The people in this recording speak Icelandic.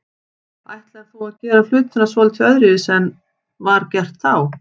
Ætlar þú að gera hlutina svolítið öðruvísi en var gert þá?